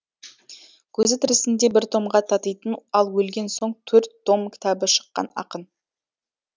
көзі тірісінде бір томға татитын ал өлген соң төрт том кітабы шыққан ақын